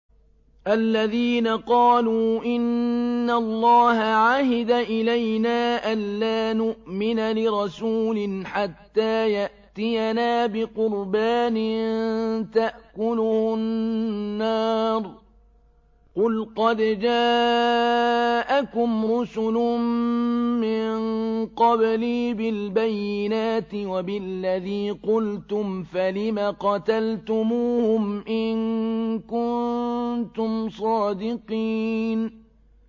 الَّذِينَ قَالُوا إِنَّ اللَّهَ عَهِدَ إِلَيْنَا أَلَّا نُؤْمِنَ لِرَسُولٍ حَتَّىٰ يَأْتِيَنَا بِقُرْبَانٍ تَأْكُلُهُ النَّارُ ۗ قُلْ قَدْ جَاءَكُمْ رُسُلٌ مِّن قَبْلِي بِالْبَيِّنَاتِ وَبِالَّذِي قُلْتُمْ فَلِمَ قَتَلْتُمُوهُمْ إِن كُنتُمْ صَادِقِينَ